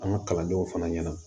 An ka kalandenw fana ɲɛna